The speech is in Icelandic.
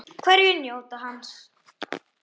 Hverjir njóta hans?